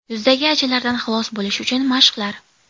Yuzdagi ajinlardan xalos bo‘lish uchun mashqlar.